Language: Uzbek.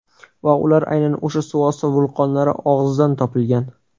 Va ular aynan o‘sha suvosti vulqonlari og‘zidan topilgan.